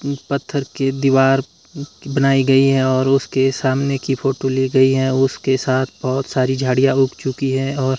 पत्थर के दीवार बनाई गई है और उसके सामने की फोटो ली गई है उसके साथ बहोत सारी झाड़ियां उग चुकी है और--